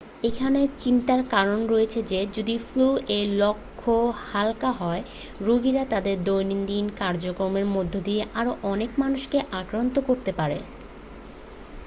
এখানে চিন্তার কারণ রয়েছে যে যদি ফ্লু এর লক্ষণ হালকা হয় রোগীরা তাদের দৈনন্দিন কার্যক্রমের মধ্য দিয়ে আরো অনেক মানুষকে আক্রান্ত করতে পারে